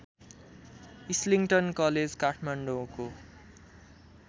Islington college काठमाडौँको